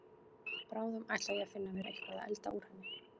Bráðum ætla ég að finna mér eitthvað að elda úr henni.